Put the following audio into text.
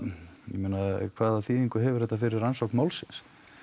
ég meina hvað þýðingu hefur þetta fyrir rannsókn málsins